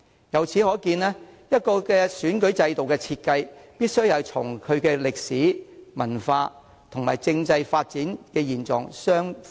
由此可見，一個選舉制度的設計，必須與其歷史、文化和政制發展現狀符合。